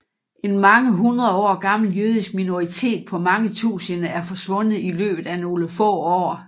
En mange hundredår gammel jødisk minoritet på mange tusinde er forsvundet i løbet af nogle få år